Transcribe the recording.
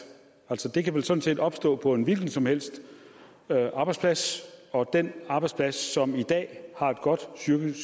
det kan vel sådan set opstå på en hvilken som helst arbejdsplads og den arbejdsplads som i dag har et godt psykisk